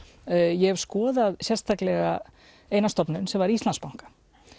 ég hef skoðað sérstaklega eina stofnun sem var Íslandsbanka